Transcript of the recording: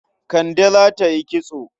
Kande za ta yi kitso.